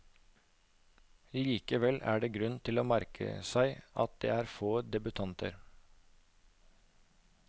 Likevel er det grunn til å merke seg at det er få debutanter.